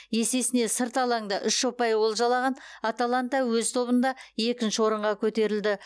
есесіне сырт алаңда үш ұпай олжалаған аталанта өз тобында екінші орынға көтерілді